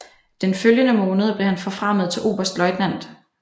Den følgende måned blev han forfremmet til oberstløjtnant